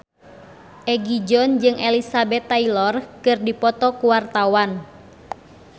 Egi John jeung Elizabeth Taylor keur dipoto ku wartawan